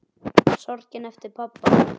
Sorgin eftir pabba.